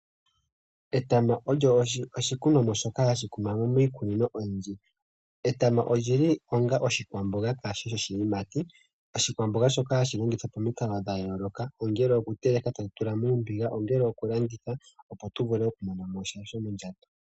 Etama olyo oshikunomwa shoka hashi kunwa miikunino oyindji. Etama olyili onga oshikwamboga kashishi oshiyimati. Oshikwamboga shoka hashi longithwa pamikalo dhayooloka, ongele okuteleka tamu tula muumbiga ,ongele okulanditha opo tumone okumona mosha shomondjato.